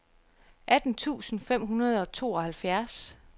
atten tusind fem hundrede og tooghalvfjerds